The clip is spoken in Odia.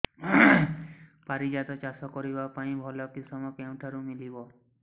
ପାରିଜାତ ଚାଷ କରିବା ପାଇଁ ଭଲ କିଶମ କେଉଁଠାରୁ ମିଳିବ